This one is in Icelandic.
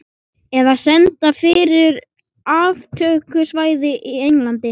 Eða senda fyrir aftökusveit í Englandi.